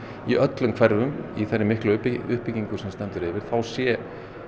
í öllum hverfum í þeirri miklu uppbyggingu sem stendur yfir að þá sé